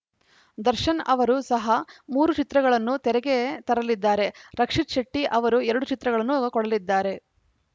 ದರ್ಶನ್‌ ಅವರೂ ಸಹ ಮೂರು ಚಿತ್ರಗಳನ್ನು ತೆರೆಗೆ ತರಲಿದ್ದಾರೆ ರಕ್ಷಿತ್‌ ಶೆಟ್ಟಿಅವರು ಎರಡು ಚಿತ್ರಗಳನ್ನು ಕೊಡಲಿದ್ದಾರೆ